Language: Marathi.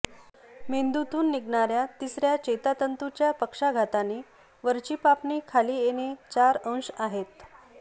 मेंदूतून निघणार्या तिसर्या चेतातंतूच्या पक्षाघाताने वरची पापणी खाली येणे चार अंश आहेत